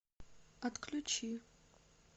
отключи